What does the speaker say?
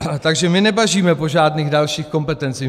Takže my nebažíme po žádných dalších kompetencích.